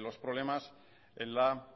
los problemas en la